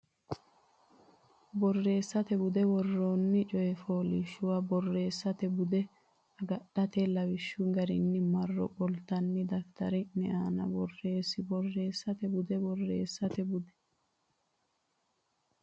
Borreessate Bude Woroonni coy fooliishshuwa borressate bude agadhitine lawishshu garinni marro qoltine daftari ne aana borreesse Borreessate Bude Borreessate Bude.